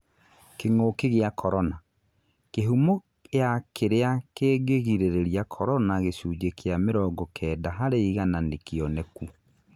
Kĩng'uki gĩa korona, kĩhumo ya kĩrĩa kĩngĩgĩrĩria korona gĩcunjĩ kĩa mĩrongo Kenda harĩ igana nĩkĩoneku